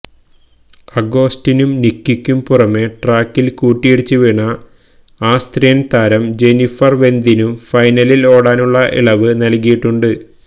അഗോസ്റ്റിനും നിക്കിക്കും പുറമെ ട്രാക്കില് കൂട്ടിയിടിച്ച് വീണ ആസ്ത്രിയന് താരം ജെന്നിഫര് വെന്തിനും ഫൈനലില് ഓടാനുള്ള ഇളവ് നല്കിയിട്ടുണ്ട്